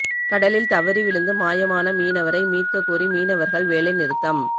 கடலில் தவறிவிழுந்து மாயமான மீனவரை மீட்கக் கோரி மீனவா்கள் வேலை நிறுத்தம்